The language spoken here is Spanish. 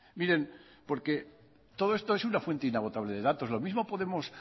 miren porque todo esto es una fuente inagotable de datos lo mismo podemos